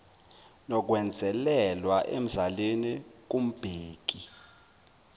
nokwenzelelwa emzalini kumbheki